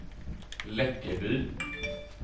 Läckeby